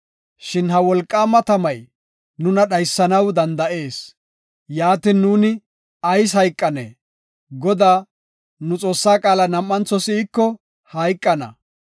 Shin ha wolqaama tamay nuna dhaysanaw danda7ees; yaatin, nuuni ayis hayqanee? Godaa, nu Xoossaa qaala nuuni nam7antho si7iko hayqana.